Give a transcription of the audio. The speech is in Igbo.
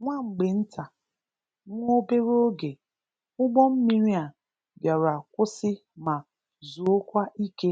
Nwa mgbe nta/nwa obere oge, ugbo mmiri a bịara kwụsị ma zuokwa ike